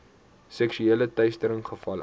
seksuele teistering gevalle